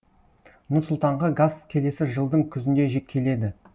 нұр сұлтанға газ келесі жылдың күзінде келеді